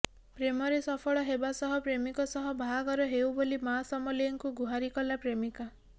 ପ୍ରେମରେ ସଫଳ ହେବା ସହ ପ୍ରେମିକ ସହ ବାହାଘର ହେଉ ବୋଲି ମାଁ ସମଲେଇଙ୍କୁ ଗୁହାରି ଗଲା ପ୍ରେମିକା